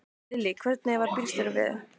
Lillý: Hvernig varð bílstjóranum við?